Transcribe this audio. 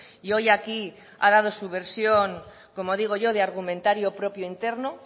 y hoy aquí ha dado su versión como digo yo de argumentario propio interno